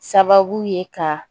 Sababu ye ka